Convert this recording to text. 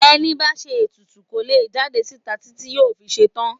Ẹni bá ń ṣe ètùtù kò lè jáde síta títí yóò fi ṣetán.